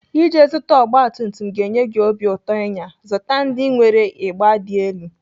Iji zụta ọgbatumtum ga-enye gị obi ụtọ ịnya, zụta ndị nwere ịgba dị elu.